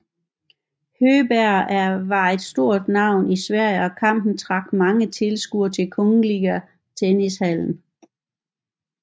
Högberg var blevet et stort navn i Sverige og kampen trak mange tilskuere i Kungliga Tennishallen